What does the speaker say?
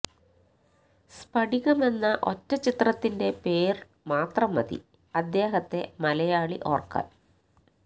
സ്ഫടികമെന്ന ഒറ്റ ചിത്രത്തിന്റെ പേര് മാത്രം മതി അദ്ദേഹത്തെ മലയാളി ഓര്ക്കാന്